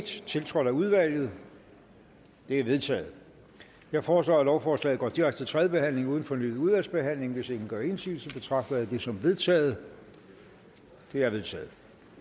tiltrådt af udvalget det er vedtaget jeg foreslår at lovforslaget går direkte til tredje behandling uden fornyet udvalgsbehandling hvis ingen gør indsigelse betragter jeg det som vedtaget det er vedtaget